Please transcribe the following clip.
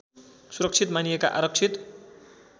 सुरक्षित मानिएका आरक्षित